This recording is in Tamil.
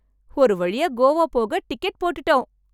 ஒரு வழியா கோவா போக டிக்கெட் போட்டுட்டோம்.